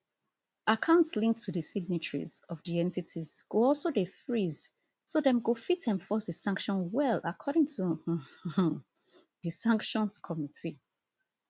accounts linked to di signatories of di entities go also dey freeze so dem go fit enforce di sanction well according to um di sanctions committee